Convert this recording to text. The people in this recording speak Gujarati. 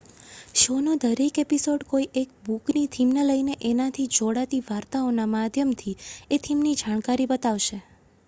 શો નો દરેક એપિસોડ કોઈ એક બુક ની થીમ ને લઈને એના થી જોડાતી વાર્તાઓ ના માધ્યમ થી એ થીમ ની જાણકારી બતાવશે